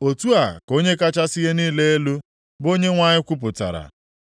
Otu a ka Onye kachasị ihe niile elu, bụ Onyenwe anyị kwupụtara,